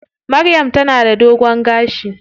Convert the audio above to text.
Maryam ta na da dogon gashi.